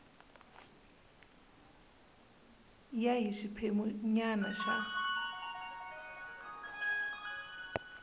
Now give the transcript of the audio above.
ya hi xiphemu nyana xa